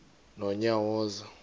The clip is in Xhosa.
nonyawoza